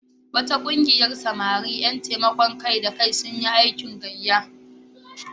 Wata ƙungiyar samari ƴan taimakon kai-da-kai sun yi aikin gayya.